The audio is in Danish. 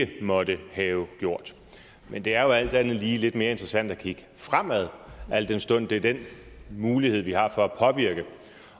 ikke måtte have gjort men det er jo alt andet lige lidt mere interessant at kigge fremad al den stund det er den mulighed vi har for at påvirke